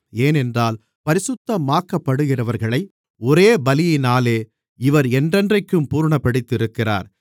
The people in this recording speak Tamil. ஏனென்றால் பரிசுத்தமாக்கப்படுகிறவர்களை ஒரே பலியினாலே இவர் என்றென்றைக்கும் பூரணப்படுத்தியிருக்கிறார்